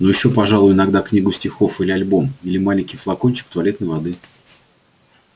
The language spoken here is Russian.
ну ещё пожалуй иногда книгу стихов или альбом или маленький флакончик туалетной воды